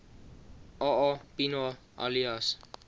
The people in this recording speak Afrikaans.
aa pienaar alias